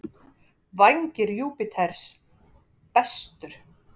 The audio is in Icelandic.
Vængir Júpíters: Bestur.